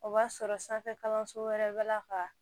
O b'a sɔrɔ sanfɛ kalanso wɛrɛ bɛ la kaa